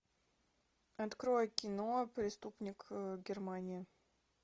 открой кино преступник германии